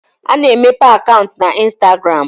A na-emepe akaụntụ na instagram